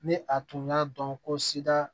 Ni a tun y'a dɔn ko sida